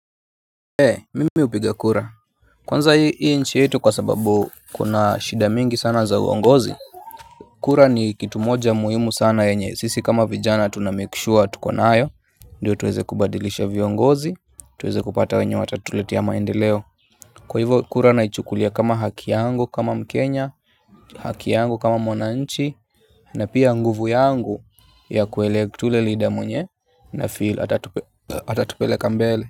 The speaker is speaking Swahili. Mimi hupiga kura. Kwanza hii nchi yetu kwa sababu kuna shida mingi sana za uongozi. Kura ni kitu moja muhimu sana yenye sisi kama vijana tunamake sure tuko nayo. Ndiyo tuweze kubadilisha viongozi tuweze kupata wenye watatuletea maendeleo kwa hivyo kura naichukulia kama haki yangu kama mkenya haki yangu kama mwananchi. Na pia nguvu yangu ya kuelect ule leader mwenye nafeel atatupeleka mbele.